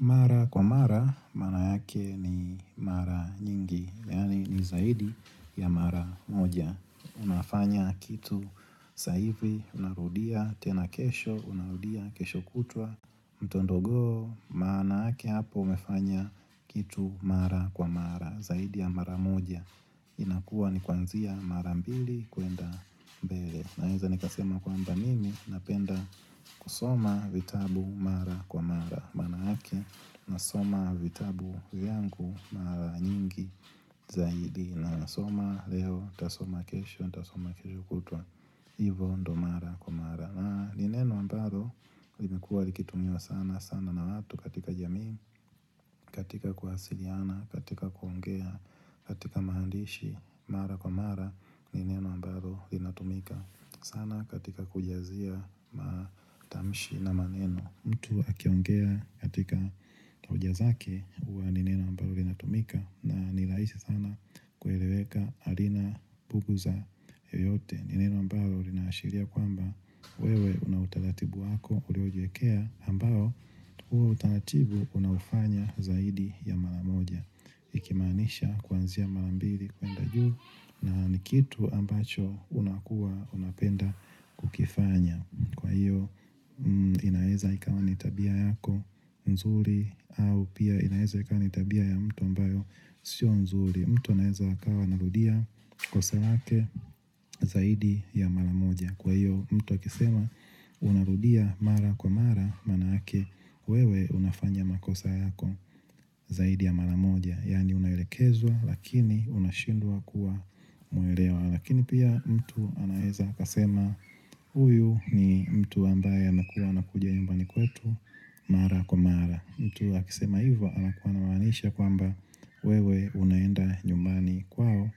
Mara kwa mara, mara yake ni mara nyingi Yani ni zaidi ya mara moja Unafanya kitu saa hivi, unarudia tena kesho, unarudia kesho kutwa Mtondogoo, maana yake hapo, umefanya kitu mara kwa mara Zaidi ya mara moja inakua ni kwanzia mara mbili kuenda mbele Naeza nikasema kwamba mimi, napenda kusoma vitabu mara kwa mara maana ake na soma vitabu vyangu mara nyingi Zaidi na soma Leo nitasoma kesho niTasoma kesho kutwa hIvo ndio mara kwa mara Nineno ambalo limekua likitumiwa sana sana na watu katika jamii, katika kuwasiliana katika kuongea katika maandishi mara kwa mara Nineno ambalo lInatumika sana katika kujazia Matamshi na maneno mtu akiongea katika hoja zake huwa nineno ambalo linatumika na nirahisi sana kueleweka halina bubuza yote Nineno ambalo linaashiria kwamba wewe unautaratibu wako uliojiwekea ambalo huo utaratibu unaufanya zaidi ya maramoja Ikimaanisha kuanzia marambili kwenda juu na nikitu ambacho unakua unapenda kukifanya Kwa hiyo inaweza ikawa nitabia yako nzuri au pia inaweza ikawa nitabia ya mtu ambayo sio nzuri mtu anaweza akawa anarudia kosa lake zaidi ya mara moja Kwa hiyo mtu akisema unarudia mara kwa mara maanake wewe unafanya makosa yako zaidi ya mara moja Yani unaelekezwa lakini unashindwa kuwa muelewa Lakini pia mtu anaweza akasema huyu ni mtu ambaye anakuwa anakuja nyumbani kwetu mara kwa mara mtu akisema hivyo na kuwa anamaanisha kwamba wewe unaenda nyumbani kwao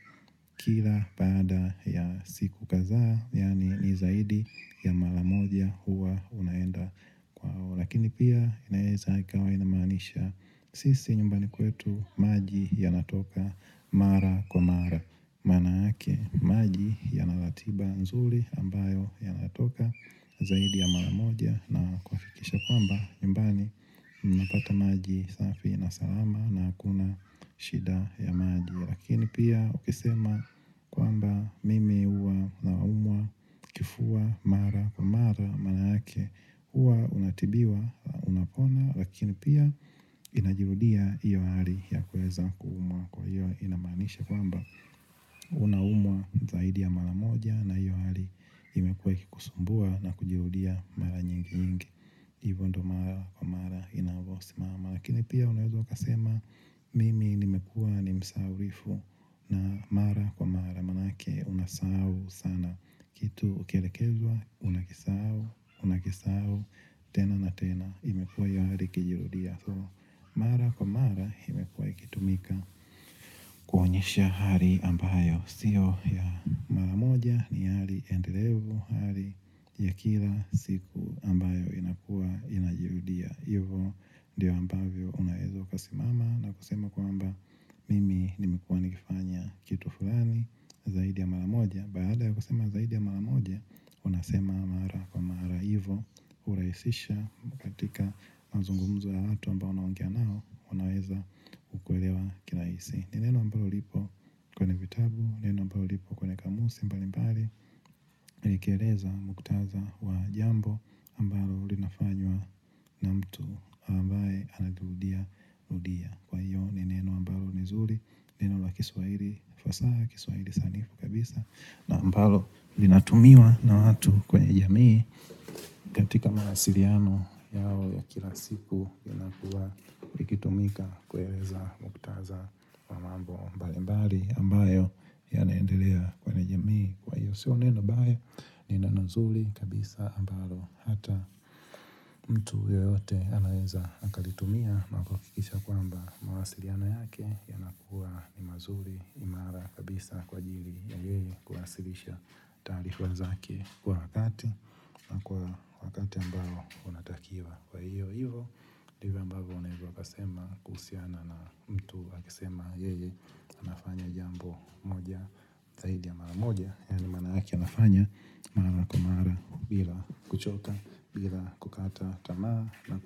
kila baada ya siku kadhaa Yani nizaidi ya mara moja huwa unaenda kwao Lakini pia inaeza ikawa inamaanisha sisi nyumbani kwetu maji yanatoka mara kwa mara maana yake maji ya naratiba nzuri ambayo ya natoka zaidi ya maramoja na kuhakikiisha kwamba nyuMbani napata maji safi na salama na hakuna shida ya maji Lakini pia ukisema kwamba mimi huwa naumwa, kifuwma, mara, mara, maana yake huwa unatibiwa, unapona Lakini pia inajirudia hiyo hali ya kuweza kuumwa kwa hiyo inamaanisha kwamba Unaumwa zaidi ya mara moja na hiyo hali imekuwe ikikusumbua na kujirudia mara nyingi yingi hIvo ndio mara kwa mara inavosima ma lakini pia unaweza ukasema mimi nimekuwa nimsahaulifu na mara kwa mara Maanake unasahu sana kitu ukielekezwa unakisahau unakisahau tena na tena imekuwa hio hali ikijirudia Mara kwa mara imekuwa ikitumika kuonyesha hali ambayo Sio ya maramoja ni hali endelevu Hali ya kila siku ambayo inakua inajirudia hIvo ndiyo ambavyo Unaweza ukasimama na kusema kwamba Mimi nimekuwa nikifanya Kitu fulani Zaidi ya maramoja Baada ya kusema zaidi ya maramoja Unasema mara kwa mara hIvo hurahisisha katika mazungumzo ya watu aMbao unaongea nao wanaweza kukuelewa kirahisi ni neno ambalo lipo kwenye vitabu, neno ambalo lipo kwenye kamusi, mbali mbali likkeleza muktadha wa jambo aMbalo li nafanywa na mtu ambaye anarudia rudia Kwa iyo neneno ambalo nizuri, neno wa kiswahili fasaha, ya kiswahili sanifu kabisa na ambalo li lnatumiwa na watu kwenye jamii katika mawasiliano yao ya kila siku ya linakuwa likitumika kueleza muktadha wa mambo mbali mbali ambayo yanaendelea kwenye jamii kwa hio sio neno mbaya ni neno nzuri kabisa ambalo hata mtu yoyote anaweza akalitumia na kuhakikisha kwamba mawasiliano yake yanakuwa ni mazuri imara kabisa kwa ajiri ya yeye kuwasilisha taarifa zake kwa wakati na kwa wakati ambao Unatakiwa kwa hiyo hivo ndivyo ambavyo unaweza ukasema kuhusiana na mtu akisema Yeye anafanya jambo moja zaidi ya mara moja Yani maana yake anafanya Mara kwa mara bila kuchoka bila kukata tamaa na kwe.